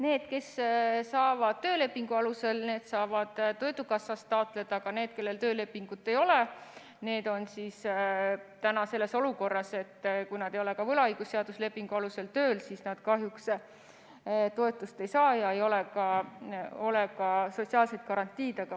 Need, kes saavad töölepingu alusel, need saavad töötukassast taotleda, aga need, kellel töölepingut ei ole, on selles olukorras, et kui nad ei ole ka võlaõigusseadusliku lepingu alusel tööl, siis nad kahjuks toetust ei saa ja neil ei ole ka sotsiaalset garantiid.